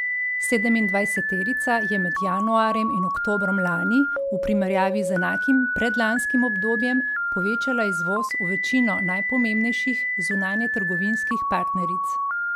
Sedemindvajseterica je med januarjem in oktobrom lani v primerjavi z enakim predlanskim obdobjem povečala izvoz v večino najpomembnejših zunanjetrgovinskih partneric.